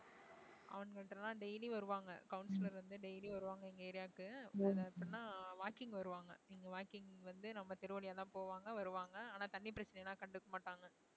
அவனுங்கள்ட்ட எல்லாம் daily வருவாங்க councillor வந்து daily வருவாங்க எங்க area க்கு அதுல எப்படின்னா walking வருவாங்க நீங்க walking வந்து நம்ம தெரு வழியாதான் போவாங்க வருவாங்க ஆனா தண்ணி பிரச்சனை எல்லாம் கண்டுக்க மாட்டாங்க